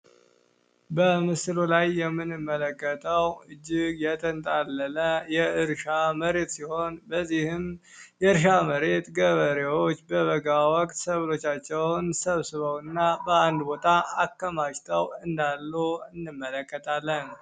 በምስሎ ላይ የምንመለከተው እጅግ የተንታለለ የእርሻ መሬት ሲሆን በዚህም የእርሻ መሬት ገበሬዎች በበጋ ወቅት ሰብሎቻቸውን ሰብስበው እና በአንድ ቦታ አከማጅተው እንዳሉ እንመለከታለን።